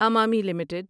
Emami limited